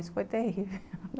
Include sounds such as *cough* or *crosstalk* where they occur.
Isso foi terrível *laughs*